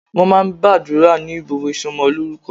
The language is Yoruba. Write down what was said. Wọ́n máa ń gbàdúrà ní gbogbo ìsọmọlórúkọ.